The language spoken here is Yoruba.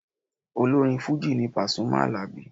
Olórin Fujì ni Pàsúmì Àlàbí.